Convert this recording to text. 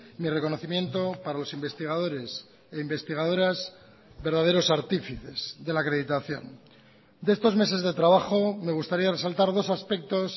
mi reconocimiento para los investigadores e investigadoras verdaderos artífices de la acreditación de estos meses de trabajo me gustaría resaltar dos aspectos